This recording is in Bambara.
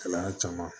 Kalan caman